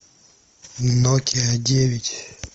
нокиа девять